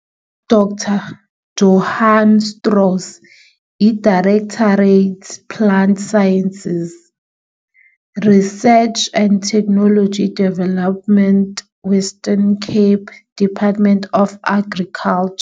U-Dr Johann Strauss, i-Directorate Plant Sciences, Research and Technology Development Western Cape Department of Agriculture.